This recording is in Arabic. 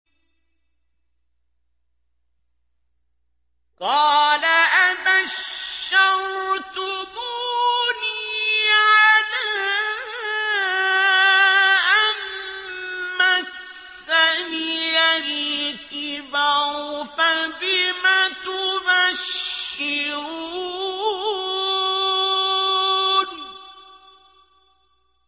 قَالَ أَبَشَّرْتُمُونِي عَلَىٰ أَن مَّسَّنِيَ الْكِبَرُ فَبِمَ تُبَشِّرُونَ